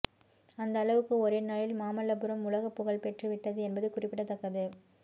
அந்த அளவுக்கு ஒரே நாளில் மாமல்லபுரம் உலகப்புகழ் பெற்றுவிட்டது என்பது குறிப்பிடத்தக்கது